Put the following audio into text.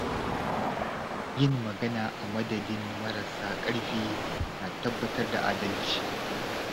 Yin magana a madadin marasa ƙarfi na tabbatar da adalci.